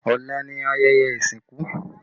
Ọ̀la ni ayẹyẹ ìsìnkú